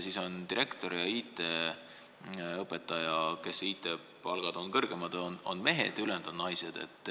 Seal on direktor ja IT-õpetaja mehed ja ülejäänud on naised.